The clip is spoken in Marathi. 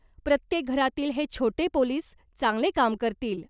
प्रत्येक घरातील हे छोटे पोलिस चांगले काम करतील